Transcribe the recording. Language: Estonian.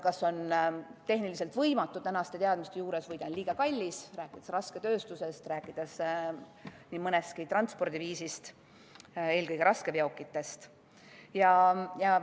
See on tänaste teadmiste juures kas tehniliselt võimatu või liiga kallis, rääkides rasketööstusest, rääkides nii mõnestki transpordiviisist, eelkõige raskeveokitest.